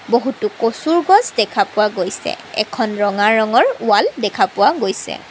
বহুতো কচুৰ গছ দেখা পোৱা গৈছে। এখন ৰঙা ৰঙৰ ৱাল দেখা পোৱা গৈছে।